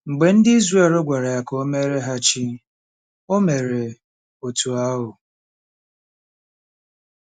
Mgbe ndị Izrel gwara ya ka o meere ha chi, o mere otú ahụ.